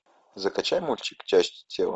закачай мультик части тела